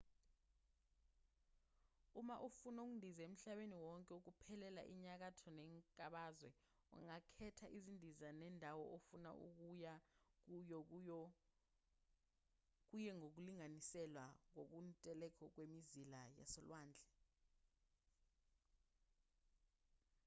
uma ufuna ukundiza emhlabeni wonke ngokuphelele enyakatho nenkabazwe ungakhetha izindiza nendawo ofuna ukuya kuyo kuye ngokulinganiselwa kokuntuleka kwemizila yasolwandle